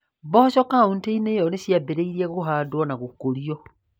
Mboco kauntĩ-inĩ ĩyo nĩ ciambĩrĩirie kũhandwo na gũkũrio.